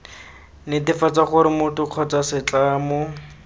netefatsa gore motho kgotsa setlamo